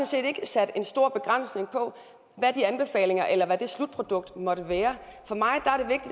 set ikke sat en stor begrænsning på hvad de anbefalinger eller det slutprodukt måtte være for mig